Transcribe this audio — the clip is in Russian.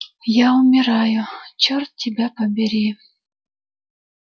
я умираю чёрт тебя побери